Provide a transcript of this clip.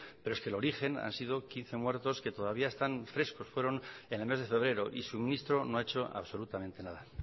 pero es que el origen han sido quince muertos que todavía están frescos fueron en el mes de febrero y su ministro no ha hecho absolutamente nada